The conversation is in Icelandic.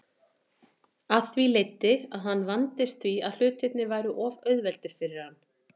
Af því leiddi að hann vandist því að hlutirnir væru of auðveldir fyrir hann.